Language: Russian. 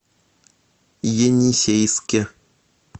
енисейске